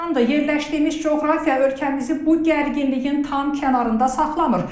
Yerləşdiyimiz coğrafiya ölkəmizi bu gərginliyin tam kənarında saxlamır.